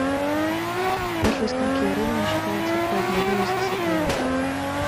после скольки времени считается поздний выезд с отеля